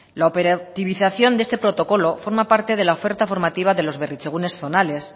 la operativización de este protocolo forma parte de la oferta formativa de los berritzegunes zonales